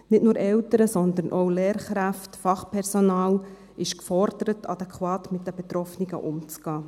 Nicht nur Eltern, sondern auch Lehrkräfte, Fachpersonal ist gefordert, adäquat mit den Betroffenen umzugehen.